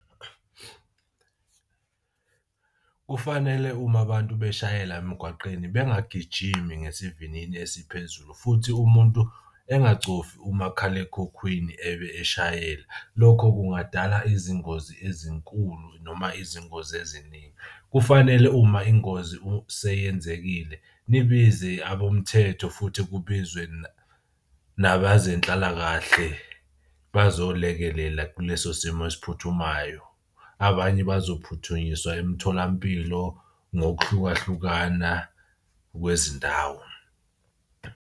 Kufanele uma abantu beshayela emgwaqeni bangagijimi ngesivinini esiphezulu futhi umuntu engacofi umakhalekhukhwini ebe eshayela. Lokho kungadala izingozi ezinkulu noma izingozi eziningi. Kufanele uma ingozi seyenzekile nibize abomthetho futhi kubizwe nabazenhlalakahle bazolekelela kuleso simo esiphuthumayo. Abanye bazophuthunyiswa emtholampilo ngokuhlukahlukana kwezindawo.